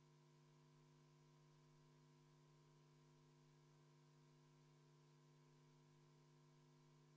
Kuna Riigikogu liikmel Riho Breivelil on teatud probleeme arvutiga ja meie IT-osakond katsub neile lahendust leida, siis võtan täiendavalt juhataja vaheaja kümme minutit.